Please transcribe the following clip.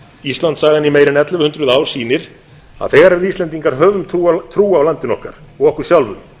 íslandssagan í meira en ellefu hundruð ár sýnir að þegar við íslendingar höfum trú á landinu okkar og okkur sjálfum